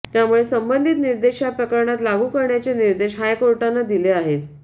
त्यामुळे संबंधित निर्देश या प्रकरणात लागू करण्याचे निर्देश हायकोर्टानं दिले आहेत